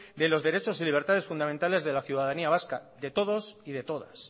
de los derechos y libertades fundamentales de la ciudadanía vasca de todos y de todas